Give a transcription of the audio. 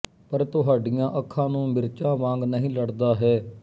ਪਰ ਤੁਹਾਡੀਆਂ ਅੱਖਾਂ ਨੂੰ ਮਿਰਚਾਂ ਵਾਂਗ ਨਹੀਂ ਲੜਦਾ ਹੈ